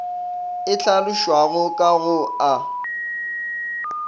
e hlalošwago ka go a